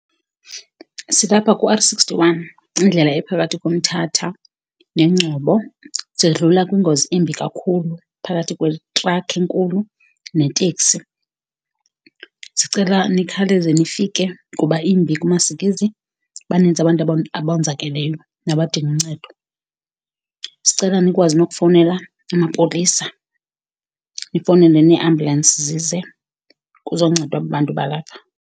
Silapha kuR sixty-one, indlela ephakathi koMthatha neNgcobo. Sidlula kwingozi embi kakhulu, phakathi kwetrakhi enkulu neteksi. Sicela nikhawuleze nifike kuba imbi, kumasikizi. Baninzi abantu abonzakeleyo nabadinga uncedo. Sicela nikwazi nokufowunela amapolisa, nifowunele neeambulensi zize, kuzoncedwa aba bantu balapha.